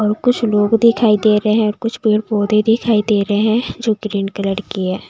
और कुछ लोग दिखाई दे रहे हैं और कुछ पेड़ पौधे दिखाई दे रहे हैं जो ग्रीन कलर की है।